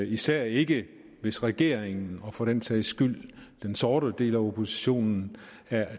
især ikke hvis regeringen og for den sags skyld den sorte del af oppositionen